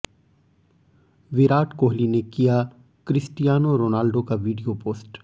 विराट कोहली ने किया Cristiano Ronaldo का वीडियो पोस्ट